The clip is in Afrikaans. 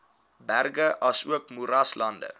berge asook moeraslande